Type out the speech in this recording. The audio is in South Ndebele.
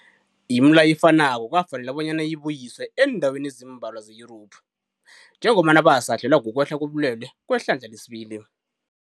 Imileyo efanako kwafanela bonyana ibuyiswe eendaweni ezimbalwa ze-Yurophu njengombana basahlelwa kukwehla kobulwele kwehlandla lesibili.